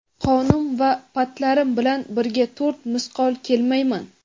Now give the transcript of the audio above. qonim va patlarim bilan birga to‘rt misqol kelmayman.